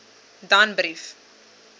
danbrief